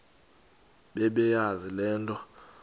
bebeyazi le nto